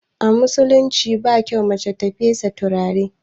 A musulunci ba kyau na mace ta fesa turare